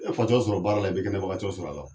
E bɛ fatɔ sɔrɔ baara la, i be kɛnɛbagatɔ sɔrɔ a la